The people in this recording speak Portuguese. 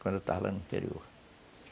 quando eu estava lá no interior.